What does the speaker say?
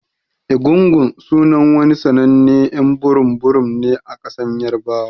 Egungun sunan wani sannanen y'an burum burum ne a kasan yarbawa.